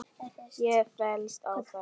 Ég fellst á þetta.